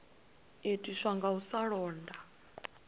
itiswa nga u sa londa